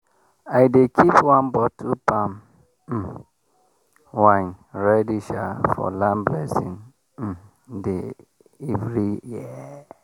i dey keep one bottle palm um wine ready sha for land blessing um day every year.